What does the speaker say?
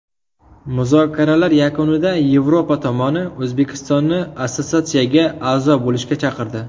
Muzokaralar yakunida Yevropa tomoni O‘zbekistonni assotsiatsiyaga a’zo bo‘lishga chaqirdi.